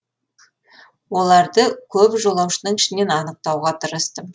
оларды көп жолаушының ішінен анықтауға тырыстым